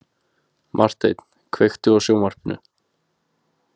Marteinn, kveiktu á sjónvarpinu.